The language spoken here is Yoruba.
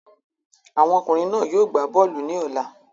Àwọn ọkùnrin náà yóò gbá bọ́ọ̀lù ní ọ̀la.